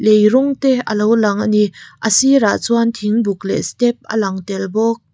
lei rawng te alo lang ani a sirah chuan thing buk leh step a lang tel bawk.